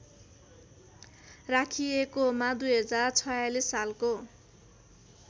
राखिएकोमा २०४६ सालको